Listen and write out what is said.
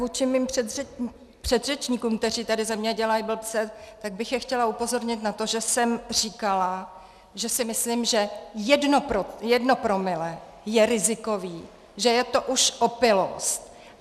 Vůči mým předřečníkům, kteří tady ze mě dělají blbce, tak bych je chtěla upozornit na to, že jsem říkala, že si myslím, že jedno promile je rizikové, že je to už opilost.